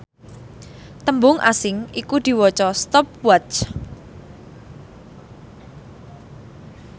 tembung asing iku diwaca stopwatch